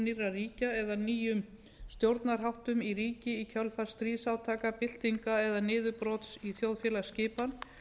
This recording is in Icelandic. ríkja eða nýjum stjórnarháttum í ríki í kjölfar stríðsátaka byltinga eða niðurbrots í þjóðfélagsskipan